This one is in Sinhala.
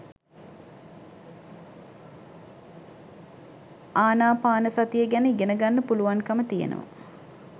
ආනාපානසතිය ගැන ඉගෙන ගන්න පුළුවන්කම තියෙනව